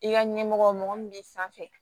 I ka ɲɛmɔgɔ mɔgɔ min b'i sanfɛ